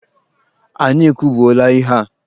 Anyị ekwubuola ihe a!